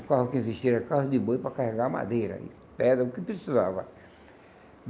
O carro que existia era carro de boi para carregar madeira e pedra, o que precisava.